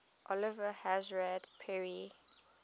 oliver hazard perry